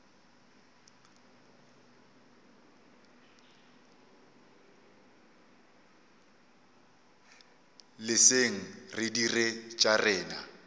leseng re dire tša rena